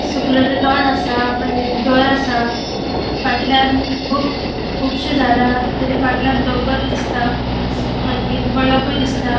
सुकलेले तण असा मागिर घर असा फाटल्याण कु कुबशी झाड़ा तेजे फाटल्याण डोंगोर दिसता मागिर मळभुई दिसता.